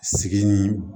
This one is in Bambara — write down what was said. Sigini